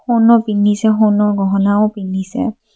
সোণও পিন্ধিছে সোণৰ গহনাও পিন্ধিছে।